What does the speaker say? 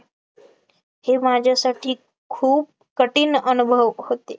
हे माझ्यासाठी खूप कठीण अनुभव होते